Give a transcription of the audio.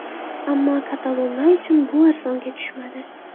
Ammo katalonlar uchun bu arzonga tushmadi.